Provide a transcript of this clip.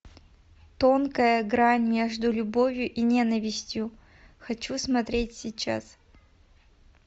тонкая грань между любовью и ненавистью хочу смотреть сейчас